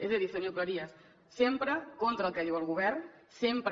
és a dir senyor cleries sempre contra el que diu el govern sempre